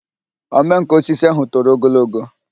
omenkà osisi ahụ toro ogologo